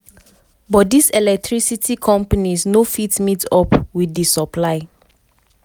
but dis electricity companies no fit meet-up wit di supply.